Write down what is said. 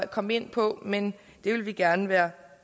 kom ind på men vi vil gerne være